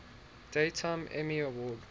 daytime emmy award